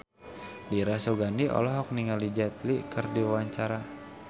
Dira Sugandi olohok ningali Jet Li keur diwawancara